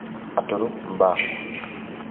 Aturu mbaa.